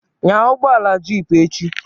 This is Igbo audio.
Nya ugbọala jeep echi